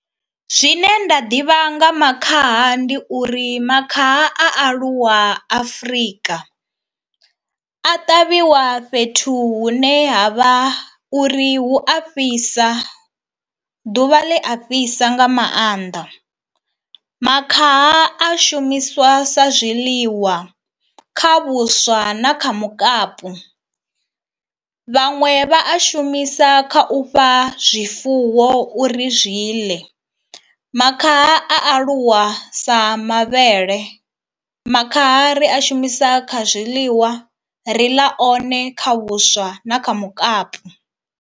Zwine nda ḓivha nga makhaha ndi uri makhaha a aluwa Afrika, a ṱavhiwa fhethu hune ha vha uri hu a fhisa ḓuvha ḽi a fhisa nga maanḓa. Makhaha a shumiswa sa zwiḽiwa kha vhuswa na kha mukapu, vhaṅwe vha a shumisa kha u fha zwifuwo uri zwi ḽe. Makhaha a aluwa sa mavhele, makhaha ri a shumisa kha zwiḽiwa ri ḽa one kha vhuswa na kha mukapu.